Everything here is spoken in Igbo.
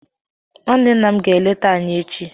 Nwanne nna m ga-eleta anyị echi